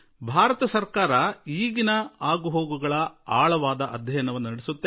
ಭಾರತ ಸರ್ಕಾರದ ಒಳಗೆ ಇದರ ಆಳಕ್ಕೆ ಹೋಗಲಾಗುವುದು